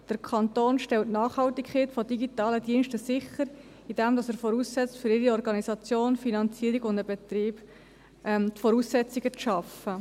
Der Kanton stellt die Nachhaltigkeit von digitalen Diensten sicher, indem er für ihre Organisation, Finanzierung und Betrieb die Voraussetzungen schafft.